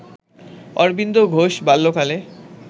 অরবিন্দ ঘোষ বাল্যকালে